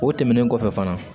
O tɛmɛnen kɔfɛ fana